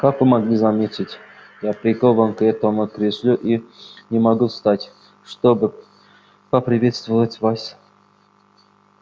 как вы могли заметить я прикован к этому креслу и не могу встать чтобы поприветствовать вас